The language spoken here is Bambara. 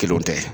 Kelenw tɛ